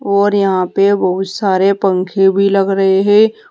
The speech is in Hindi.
और यहां पे बहुत सारे पंखे भी लग रहे है।